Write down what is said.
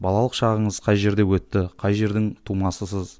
балалық шағыңыз қай жерде өтті қай жердің тумасысыз